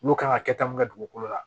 Olu kan ka kɛ ta mun kɛ dugukolo la